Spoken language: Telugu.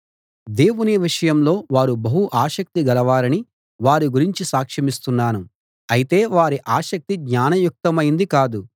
దేవుని విషయంలో వారు బహు ఆసక్తి గలవారని వారి గురించి సాక్షమిస్తున్నాను అయితే వారి ఆసక్తి జ్ఞానయుక్తమైంది కాదు